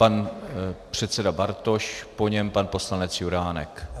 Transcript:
Pan předseda Bartoš, po něm pan poslanec Juránek.